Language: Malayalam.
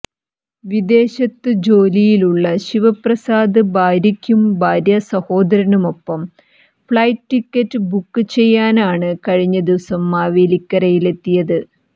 വിദേശത്തു ജോലിയുള്ള ശിവപ്രസാദ് ഭാര്യയ്ക്കും ഭാര്യാസഹോദരനുമൊപ്പം ഫ്ളൈറ്റ് ടിക്കറ്റ് ബുക്ക് ചെയ്യാനാണ് കഴിഞ്ഞദിവസം മാവേലിക്കരയിലെത്തിയത്